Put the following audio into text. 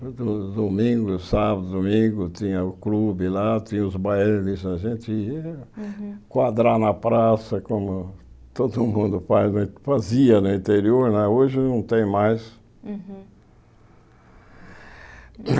Do domingo, sábado e domingo, tinha o clube lá, tinha os bailes, a gente ia quadrar na praça, como todo mundo faz fazia né no interior, hoje não tem mais.